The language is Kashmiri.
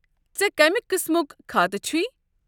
ژےٚ کمہِ قٕسمُک كھاتہٕ چھُے؟